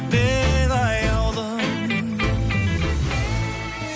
мен аяулым